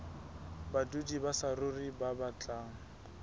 badudi ba saruri ba batlang